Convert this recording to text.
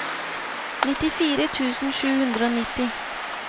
nittifire tusen sju hundre og nitti